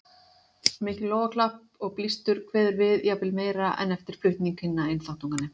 Mikið lófaklapp og blístur kveður við, jafnvel meira en eftir flutning hinna einþáttunganna.